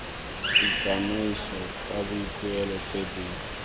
ditsamaiso tsa boikuelo tse di